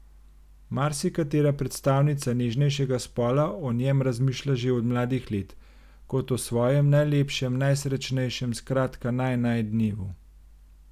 Marsikatera predstavnica nežnejšega spola o njem razmišlja že od mladih let, kot o svojem, najlepšem, najsrečnejšem, skratka naj naj dnevu.